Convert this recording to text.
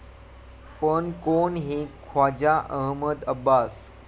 पण कोण हे ख्वाजा अहमद अब्बास?